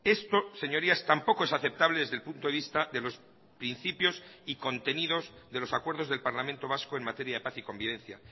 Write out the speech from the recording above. esto señorías tampoco es aceptable desde el punto de vista de los principios y contenidos de los acuerdos del parlamento vasco en materia de paz y convivencia